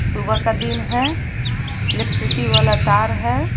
सुबह का दिन है इलेक्ट्रिसिटी वाला तार है।